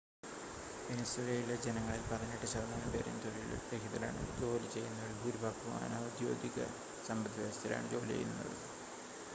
വെനിസ്വേലയിലെ ജനങ്ങളിൽ പതിനെട്ട് ശതമാനം പേരും തൊഴിൽ രഹിതരാണ് ജോലി ചെയ്യുന്നവരിൽ ഭൂരിഭാഗവും അനൗദ്യോഗിക സമ്പദ്‌വ്യവസ്ഥയിലാണ് ജോലി ചെയ്യുന്നത്